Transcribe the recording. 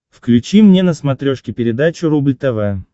включи мне на смотрешке передачу рубль тв